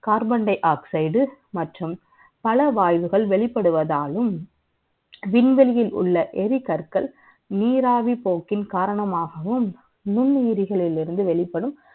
Carbon dioxide மற்றும் பல வாய்வுகள் வெளிப்படுவதாலும் விண்வெளியில் உள்ள எரி கற்கள் நீராவி போக்கில் காரணமாகவும் நுண்ணுயிரிகளில் இருந்து வெளிப்படும்